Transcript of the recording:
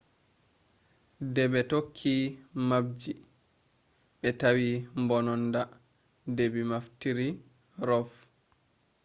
debe tokki mapji be tawi mbononnada debi naftiri rov